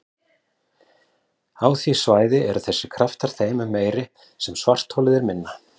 Á því svæði eru þessir kraftar þeim mun meiri sem svartholið er minna.